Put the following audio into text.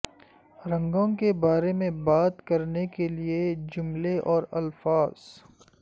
رنگوں کے بارے میں بات کرنے کے لئے جملے اور الفاظ